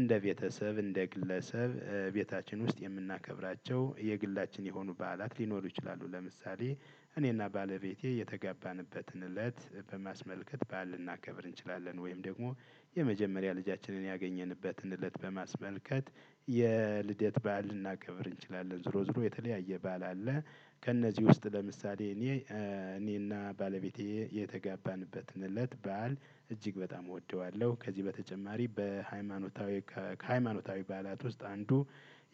እንደ ቤተሰብ እንደ ግለሰብ ቤታችን ውስጥ የምናከብራቸው የግላችን የሆኑ በዓላት ሊኖሩ ይችላሉ። ለምሳሌ እኔና ባለቤቴ የተገባንበትን እለት በማስመልከት በዓል ልናከብር እንችላለን። ወይም ደግሞ የመጀመሪያ ልጃችንን ያገኘንበትን እለት በማስመልከት የልደት በዓል ልናከብር እንችላለን። ዝሮ ዝሮ የተለያየ ባል አለ። ከእነዚህ ውስጥ ለምሳሌ እኔ እኔና ባለቤቴ የተጋባንበትንለት በዓል እጅግ በጣም እወደዋለሁ። ከዚህ በተጨማሪ በሃይማኖታዊ ከሃይማኖታዊ ባህላት ውስጥ አንዱ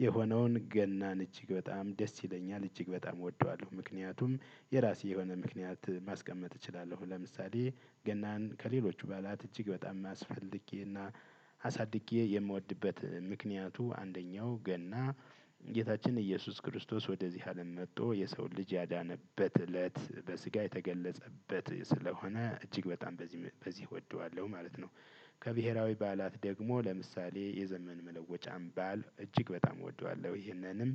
የሆነውን ገናን እጅግ በጣም ደስ ይለኛል እጅግ በጣም እወደዋለሁ። ምክንያቱም የራሴ የሆነ ምክንያት ማስቀመጥ እችላለሁ። ለምሳሌ ገናን ከሌሎቹ በኋላ እጅግ በጣም የሚያስፈልግኝ እና አሳድጌ የምወድበት ምክንያቱ አንደኛው ገና። ጌታችን ኢየሱስ ክርስቶስ ወደዚህ አለም መጥቶ የሰው ልጅ ያዳነበት እለት በስጋ የተገለጸበት ስለሆነ እጅግ በጣም በዚህ በዚህ እወደዋለሁ ማለት ነው። ከብሄራዊ ባላት ደግሞ ለምሳሌ የዘመን መለወጫም ባል እጅግ በጣም እወደዋለሁ። ይህንንም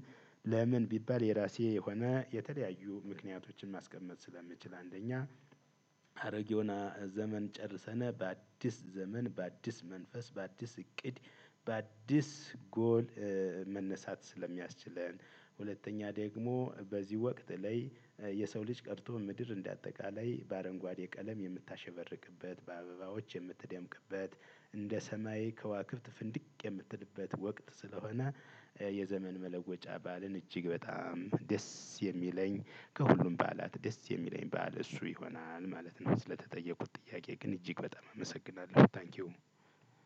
ለምን ቢባል የራሴ የሆነ የተለያዩ ምክንያቶችን ማስቀመጥ ስለምችል። አንደኛ ሀረጌ ሆና ዘመን ጨርሰነ በአዲስ ዘመን በአዲስ መንፈስ በአዲስ እቅድ በአዲስ ጎል መነሳት ስለሚያስችለን። ሁለተኛ ደግሞ በዚህ ወቅት ላይ የሰው ልጅ ቀርቶ ምድር እንደ አጠቃላይ በአረንጓዴ ቀለም የምታሸበርቅበት በአበባዎች የምትደምቅበት እንደ ሰማይ ከዋክብት ፍንድቅ የምትልበት ወቅት ስለሆነ። የዘመን መለወጫ በዓልን እጅግ በጣም ደስ የሚለኝ ከሁሉም ባላት ደስ የሚለኝ በዓል እሱ ይሆናል ማለት ነው። ስለተጠየቁት ጥያቄ ግን እጅግ በጣም አመሰግናለሁ ታንኪው።